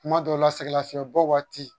Kuma dɔw la sɛgɛn lafiɲɛbɔ waati